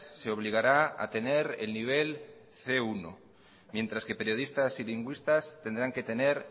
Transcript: se obligará a tener el nivel ce uno mientras que periodistas y lingüistas tendrán que tener